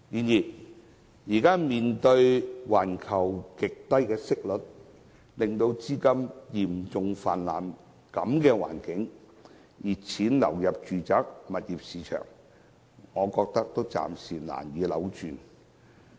然而，面對現時環球極低息率，資金嚴重泛濫，熱錢紛紛流入住宅物業市場的情況，我認為暫時難以扭轉局面。